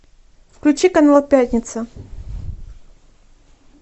включи канал пятница